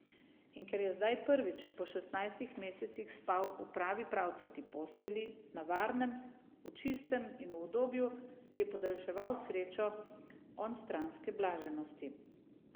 In ker je zdaj prvič po šestnajstih mesecih spal v pravi pravcati postelji, na varnem, v čistem in v udobju, je podaljševal srečo onstranske blaženosti.